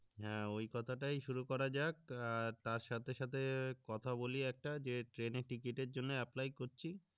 হ্যা ওই কথা টাই শুরু করা যাক আহ তার সাথে সাথে কথা বলি একটা যে ট্রেনের টিকেটের জন্য apply করছি